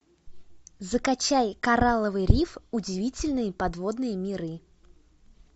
закачай коралловый риф удивительные подводные миры